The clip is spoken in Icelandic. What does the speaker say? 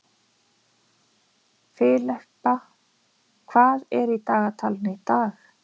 Filippa, hvað er í dagatalinu í dag?